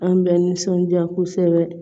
An bɛ nisɔndiya kosɛbɛ